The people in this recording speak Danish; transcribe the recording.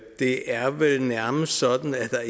det er vel nærmest sådan at der